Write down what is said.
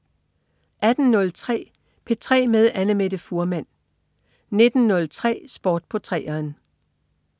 18.03 P3 med Annamette Fuhrmann 19.03 Sport på 3'eren